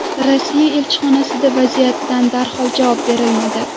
Rossiya elchixonasida vaziyatda darhol javob berilmadi.